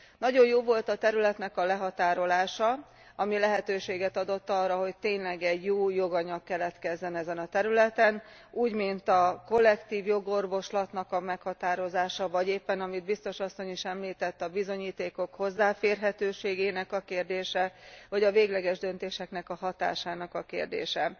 Nagyon jó volt a területnek a lehatárolása, ami lehetőséget adott arra, hogy tényleg egy új joganyag keletkezzen ezen a területen, úgy mint a kollektív jogorvoslatnak a meghatározása, vagy éppen amit a biztos asszony is említett, a bizonyítékok hozzáférhetőségének a kérdése, vagy a végleges döntések hatásának a kérdése.